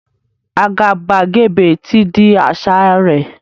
Àgàbàgebè ti di àṣà rẹ̀